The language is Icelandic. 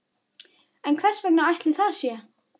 En hvers vegna ætli það sé?